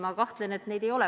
Ma kahtlen selles.